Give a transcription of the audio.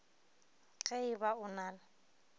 ge e ba o na